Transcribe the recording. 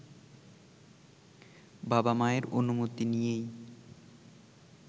বাবা-মায়ের অনুমতি নিয়েই